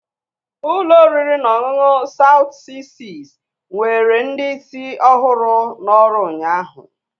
Ụlọ oriri na ọṅụṅụ Soutu 66 nwere ndị isi ọhụrụ n'ọrụ ụnyahụ.